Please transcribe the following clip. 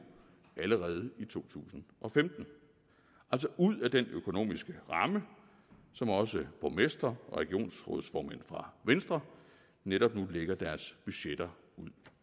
allerede i to tusind og femten altså ud af den økonomiske ramme som også borgmestre og regionsrådsformænd fra venstre netop nu lægger deres budgetter ud